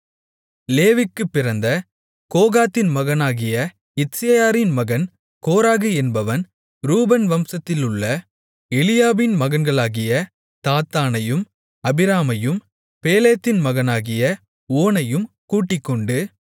லேவிக்குப் பிறந்த கோகாத்தின் மகனாகிய இத்சேயாரின் மகன் கோராகு என்பவன் ரூபன் வம்சத்திலுள்ள எலியாபின் மகன்களாகிய தாத்தானையும் அபிராமையும் பேலேத்தின் மகனாகிய ஓனையும் கூட்டிக்கொண்டு